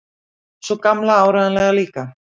Sú Gamla áreiðanlega líka.